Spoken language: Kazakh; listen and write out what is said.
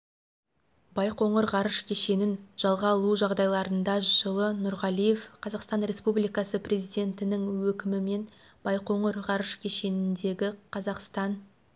байқоңыр ғарыш кешенін жалға алу жағдайларында жылы нұрғалиев қазақстан республикасы президентінің өкімімен байқоңыр ғарыш кешеніндегі қазақстан